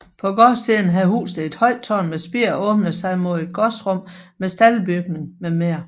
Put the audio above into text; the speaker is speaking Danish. På gårdsiden havde huset et højt tårn med spir og åbnede sig mod et gårdsrum med staldbygning mm